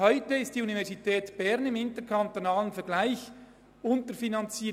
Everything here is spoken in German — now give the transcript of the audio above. Heute ist die Universität Bern im interkantonalen Bereich unterfinanziert.